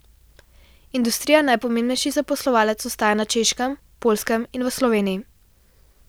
Industrija najpomembnejši zaposlovalec ostaja na Češkem, Poljskem in v Sloveniji.